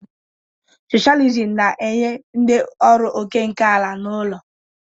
Socialism na-enye ndị ọrụ òkè nke ala na ụlọ.